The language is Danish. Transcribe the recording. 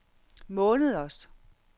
måneders